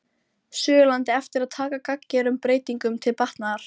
Suðurlandi eftir að taka gagngerum breytingum til batnaðar.